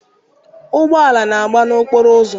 Ụgbọala na-agba n'okporoụzọ.